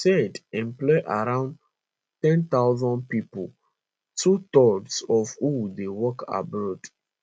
usaid employ around ten thousand pipo twothirds of who dey work abroad